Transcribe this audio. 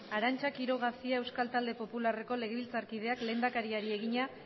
arantza quiroga cia euskal talde popularreko legebiltzarkideak lehendakariari egina